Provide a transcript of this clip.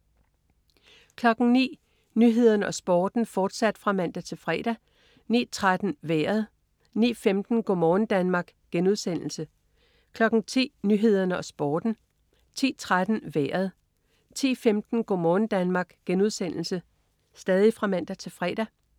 09.00 Nyhederne og Sporten (man-fre) 09.13 Vejret (man-fre) 09.15 Go' morgen Danmark* (man-fre) 10.00 Nyhederne og Sporten (man-fre) 10.13 Vejret (man-fre) 10.15 Go' morgen Danmark* (man-fre)